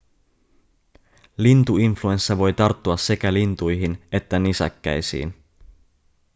lintuinfluenssa voi tarttua sekä lintuihin että nisäkkäisiin